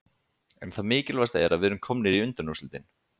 En það mikilvægasta er að við erum komnir í undanúrslitin